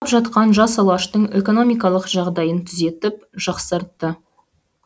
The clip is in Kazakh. жатқан жас алаштың экономикалық жағдайын түзетіп жақсартты